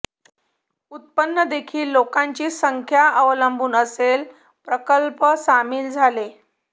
उत्पन्न देखील लोकांची संख्या अवलंबून असेल प्रकल्प सामील झाले